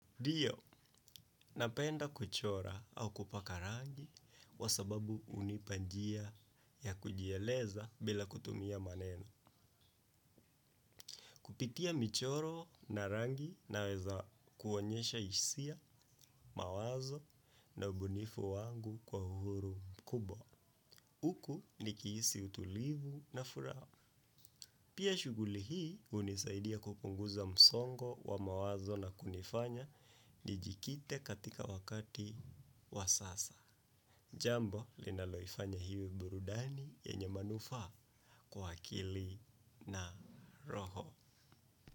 Ndiyo, napenda kuchora au kupaka rangi kwa sababu hunipa njia ya kujieleza bila kutumia maneno. Kupitia michoro na rangi naweza kuonyesha hisia, mawazo na ubunifu wangu kwa uhuru mkubwa. Huku nikihisi utulivu na furaha. Pia shughuli hii hunisaidia kupunguza msongo wa mawazo na kunifanya nijikite katika wakati wa sasa. Jambo, linaloifanya iwe burudani yenye manufaa kwa akili na roho.